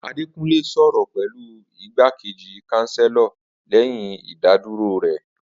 Adekunle sọrọ pẹlu Igbakeji Chancellor lẹyin idaduro rẹ